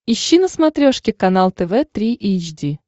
ищи на смотрешке канал тв три эйч ди